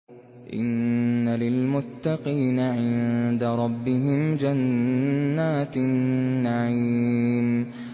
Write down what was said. إِنَّ لِلْمُتَّقِينَ عِندَ رَبِّهِمْ جَنَّاتِ النَّعِيمِ